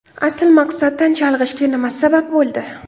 Asl maqsaddan chalg‘ishga nima sabab bo‘ldi?